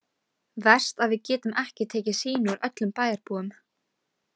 Verst að við getum ekki tekið sýni úr öllum bæjarbúum.